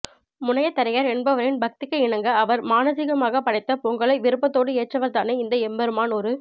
முனையதரையர் என்பவரின் பக்திக்கு இணங்க அவர் மானசீகமாக படைத்த பொங்கலை விருப்பத்தோடு ஏற்றவர்தானே இந்த எம்பெருமான் ஒரு